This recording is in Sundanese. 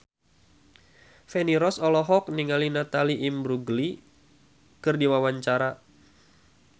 Feni Rose olohok ningali Natalie Imbruglia keur diwawancara